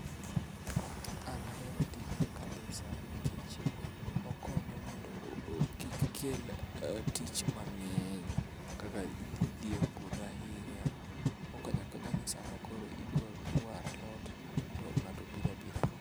An ahero tijni kabisa nikech okonyo mondo kik kel tich mangeny kaka idhi e puodho ahinya .Okonyo akonya i sama koro idwa waro alot to ngato biro abira